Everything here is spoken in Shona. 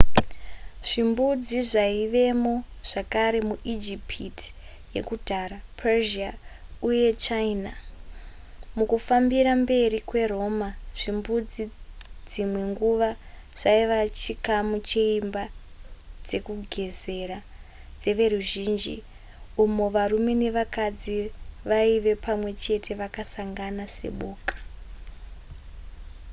zvimbudzi zvaivemo zvakare muijipiti yakudhara persia uye china mukufambira mberi kweroma zvimbudzi dzimwe nguva zvaiva chikamu cheimba dzekugezera dzeveruzhinji umo varume nevakadzi vaive pamwe chete vakasangana seboka